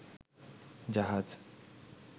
জাহাজ